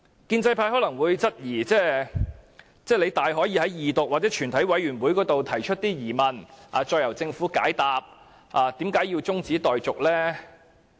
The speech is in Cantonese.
建制派可能會質疑，說我們大可以在二讀或全體委員會階段提出疑問，再由政府解答，為何我們要中止待續呢？